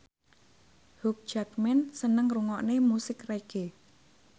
Hugh Jackman seneng ngrungokne musik reggae